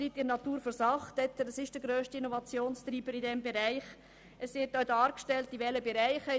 Dieses ist der grösste Innovationstreiber in diesem Bereich.